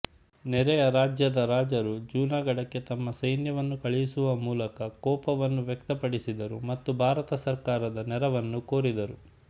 ನೆರೆಯ ರಾಜ್ಯಗಳ ರಾಜರು ಜುನಾಘಢಕ್ಕೆ ತಮ್ಮ ಸೈನ್ಯವನ್ನು ಕಳುಹಿಸುವ ಮೂಲಕ ಕೋಪವನ್ನು ವ್ಯಕ್ತಪಡಿಸಿದರು ಮತ್ತು ಭಾರತ ಸರ್ಕಾರದ ನೆರವನ್ನು ಕೋರಿದರು